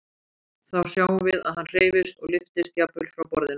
Þá sjáum við að hann hreyfist og lyftist jafnvel frá borðinu.